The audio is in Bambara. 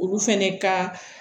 Olu fɛnɛ ka